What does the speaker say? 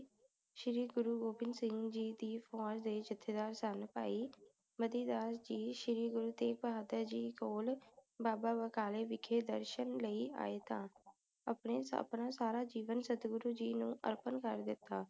ਮਤੀ ਦਾਸ ਜੀ ਸ਼੍ਰੀ ਗੁਰੂ ਤੇਗ਼ ਬਹਾਦਰ ਜੀ ਕੋਲ ਬਾਬਾ ਬਕਾਲੇ ਵਿਖੇ ਦਰਸ਼ਨ ਲਈ ਆਏ ਤਾ ਅਪਨੇ ਆਪਣਾ ਸਾਰਾ ਜੀਵਨ ਸਦਗੁਰੂ ਜੀ ਨੂੰ ਅਰਪਣ ਕਰ ਦਿਤਾ